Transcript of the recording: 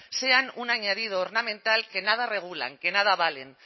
sean un añadido ornamental que nada regulan que nada valen